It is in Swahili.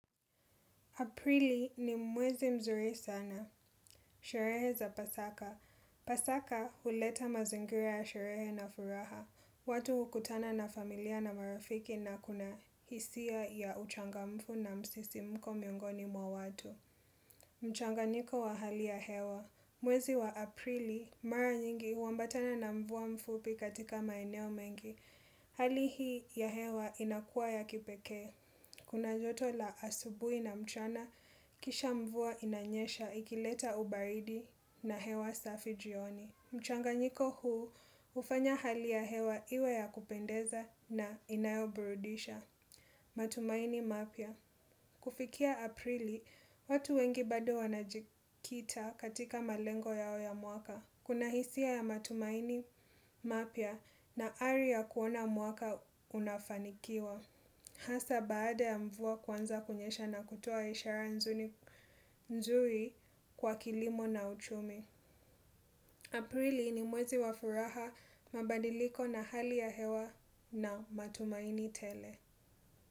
Aprili ni mwezi mzuri sana. Sherehe za pasaka. Pasaka huleta mazingira ya sherehe na furaha. Watu hukutana na familia na marafiki na kuna hisia ya uchangamfu na msisimko miongoni mwa watu. Mchanganyiko wa hali hewa mwezi wa aprili mara nyingi huambatana na mvua mfupi katika maeneo mengi. Hali hii ya hewa inakua ya kipekee. Kuna joto la asubui na mchana kisha mvua inanyesha ikileta ubaridi na hewa safi jioni. Mchanga nyiko huu ufanya hali ya hewa iwe ya kupendeza na inayo burudisha. Matumaini mapya kufikia aprili watu wengi bado wanajikita katika malengo yao ya mwaka kuna hisia ya matumaini mapya na ari ya kuona mwaka unafanikiwa. Hasa baada ya mvua kuanza kunyesha na kutoa ishara nzuri kwa kilimo na uchumi. Aprili ni mwezi wa furaha mabadiliko na hali ya hewa na matumaini tele.